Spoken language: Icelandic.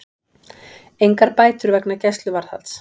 Engar bætur vegna gæsluvarðhalds